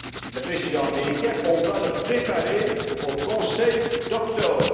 avec le président américain va être préparé au Conseil d'octobre.